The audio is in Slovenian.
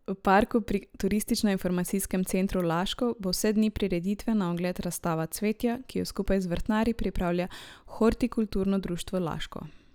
V parku pri Turistično informacijskem centru Laško bo vse dni prireditve na ogled razstava cvetja, ki jo skupaj z vrtnarji pripravlja Hortikulturno društvo Laško.